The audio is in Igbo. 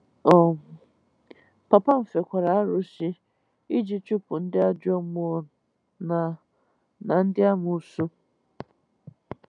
um Papa m fekwara arụsị iji chụpụ ndị ajọ mmụọ na na ndị amoosu.